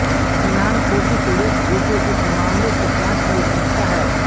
निनान कोशी सुरेश गोपी इस मामले की जाँच के लिए पूछता है